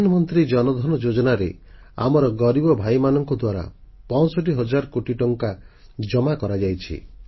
ପ୍ରଧାନମନ୍ତ୍ରୀ ଜନଧନ ଯୋଜନାରେ ଆମର ଗରିବ ଭାଇମାନଙ୍କ ଦ୍ୱାରା 65 ହଜାର କୋଟି ଟଙ୍କାର ସଞ୍ଚୟ ଜମା କରାଯାଇଛି